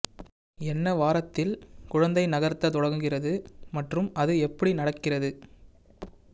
என்ன வாரத்தில் குழந்தை நகர்த்த தொடங்குகிறது மற்றும் அது எப்படி நடக்கிறது